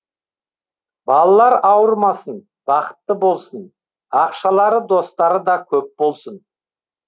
балалар ауырмасын бақытты болсын ақшалары достары да көп болсын